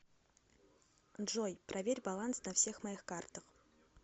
джой проверь баланс на всех моих картах